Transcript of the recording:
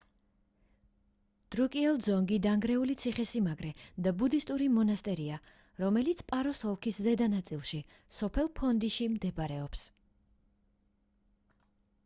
დრუკიელ ძონგი — დანგრეული ციხე-სიმაგრე და ბუდისტური მონასტერია რომელიც პაროს ოლქის ზედა ნაწილში სოფელ ფონდიში მდებარეობს